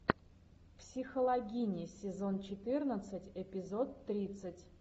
психологини сезон четырнадцать эпизод тридцать